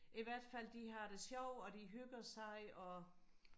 i hvert fald de har det sjovt og de hygger sig og